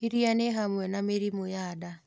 ĩrĩa ni hamwe na mĩrimũ ya nda